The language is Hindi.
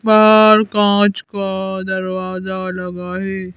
बाहर कांच का दरवाजा लगा है।